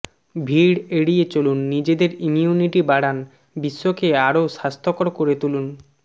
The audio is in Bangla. ভিড় এড়িয়ে চলুন নিজেদের ইমিউনিটি বাড়ান বিশ্বকে আরও স্বাস্থ্যকর করে তুলুন